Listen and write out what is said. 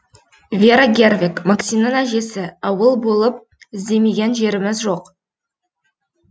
вера гервег максимнің әжесі ауыл болып іздемеген жеріміз жоқ